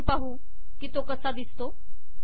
आपण जाऊन पाहू की तो कसा दिसतो